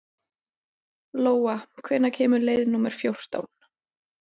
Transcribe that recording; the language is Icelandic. Lóa, hvenær kemur leið númer fjórtán?